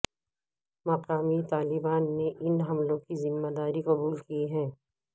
مقامی طالبان نے ان حملوں کی ذمہ داری قبول کی ہے